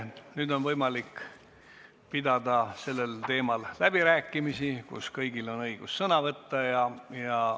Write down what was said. Nüüd on võimalik pidada sellel teemal läbirääkimisi, kõigil on õigus sõna võtta.